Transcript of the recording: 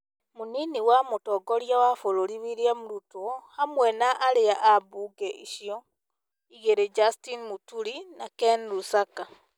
Mũnini wa mũtongoria wa bũrũri William Ruto hamwe na aria a mbunge icio igĩrĩ Justin Mũturi na Ken Lusaka,